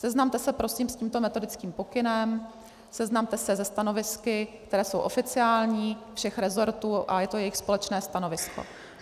Seznamte se prosím s tímto metodickým pokynem, seznamte se se stanovisky, která jsou oficiální všech resortů, a je to jejich společné stanovisko.